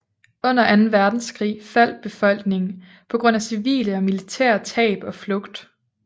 Under anden verdenskrig faldt befolkningen på grund af civile og militære tab og flugt